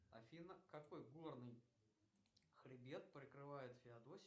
афина какой горный хребет прикрывает феодосию